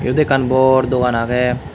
iyot ekkan bor dogan agey.